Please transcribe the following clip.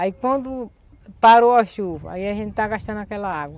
Aí quando parou a chuva, aí a gente está gastando aquela água.